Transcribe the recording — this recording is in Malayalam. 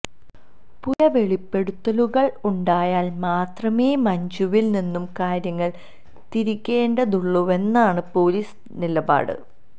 പുതിയ വെളിപ്പെടുത്തലുകൾ ഉണ്ടായാൽ മാത്രമേ മഞ്ജുവിൽ നിന്ന് കാര്യങ്ങൾ തിരിക്കേണ്ടതുള്ളൂവെന്നാണ് പൊലീസ് നിലപാട്